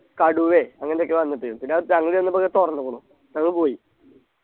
കടുവെ അങ്ങനൊക്കെ വന്നിട്ട് പിന്നാ മറ്റെ അങ് ചെന്നപ്പോ അത് തുറന്നിക്കുണു ഞങ്ങൾ പോയി